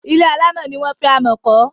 Ilé alámọ̀ ni wọ́n fi amọ̀ kọ́.